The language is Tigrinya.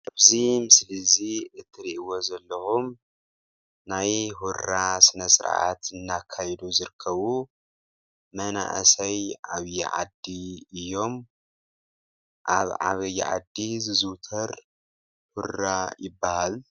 እዚ ምስሊ እዚ እትሪእዎ ዘለኩም ናይ ሁራ ስነ ስርዓት እናተካየዱ ዝርከቡ መናአሰይ ዓብይ ዓዲ እዮም ኣብ ዓብይ ዓዲ ዝዝውተር ሁራ ይበሃል።